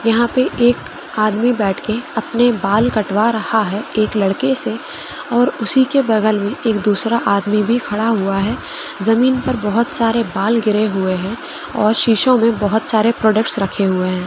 यह पे एक आदमी बैठ के अपने बाल कटवा रहा है। एक लड़के से और उसी के बगल में एक दूसरा आदमी भी खड़ा हुआ है। जमीन पर बहुत सरे बाल गिरे हुए है और शीशो में बहुत सरे प्रोडक्ट्स रखे हुए है।